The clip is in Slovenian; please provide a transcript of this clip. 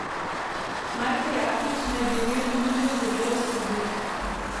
Marko Jaklič naj bi imel ponudbo za delo v Srbiji.